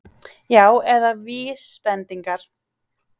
Já, eða VÍSbendingar!